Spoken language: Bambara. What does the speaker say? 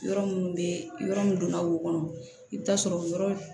Yɔrɔ minnu bɛ yɔrɔ min donna o kɔnɔ i bɛ taa sɔrɔ yɔrɔ